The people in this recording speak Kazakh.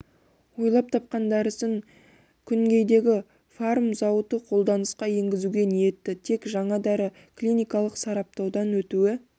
ойлап тапқан дәрісін күнгейдегі фарм зауыты қолданысқа енгізуге ниетті тек жаңа дәрі клиникалық сараптаудан өтуі